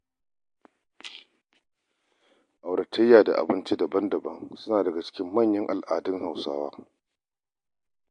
Auratayya da abinci daban-daban suna daga cikin manyan al'adun Hausawa.